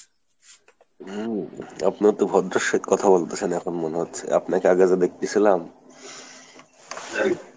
হম, আপনি এতো ভদ্রের সহিত কথা বলতেছেন এখন মনে হচ্ছে আপনাকে আগে যা দেখতেছিলাম।